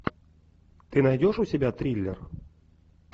ты найдешь у себя триллер